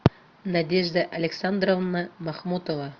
надежда александровна махмутова